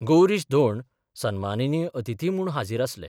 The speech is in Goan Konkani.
गौरीश धोंड सन्मानीय अतिथी म्हूण हाजीर आसले.